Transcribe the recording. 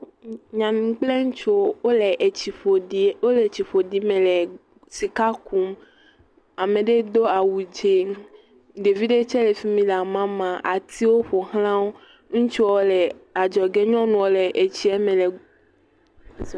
Nyɔnu kple ŋutsuwo wo le tsi ƒo….wo le tsi ƒoɖi me le sika kum. Ame aɖewo tse do awu dzɛ, ɖevi ɖe tse le fi mi le amamaa. Atiwo ƒo xla wo. Ŋutsu aɖe le adzɔ ge nyɔnu aɖe tse le etsie me le…….